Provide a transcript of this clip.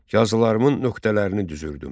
Yazılarımın nöqtələrini düzürdüm.